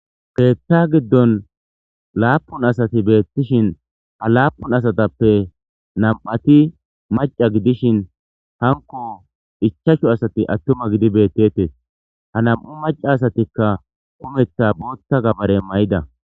Keeththa giddon laapun asati beettishin ha laapun asatappe nam'ati maca gidishin hanko ichashu asati attuma gidi bettetees ha nam'u maca asatikka umetha bootta gabare may'ida.